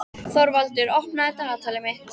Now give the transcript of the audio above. Þorvaldur, opnaðu dagatalið mitt.